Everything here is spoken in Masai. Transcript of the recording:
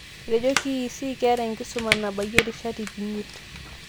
Etejo KEC keeta enkisuma nabayia rishat ip imiet.